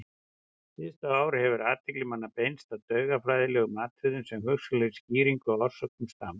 Síðustu ár hefur athygli manna beinst að taugafræðilegum atriðum sem hugsanlegri skýringu á orsökum stams.